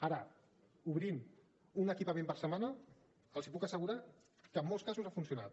ara obrint un equipament per setmana els puc assegurar que en molts casos ha funcionat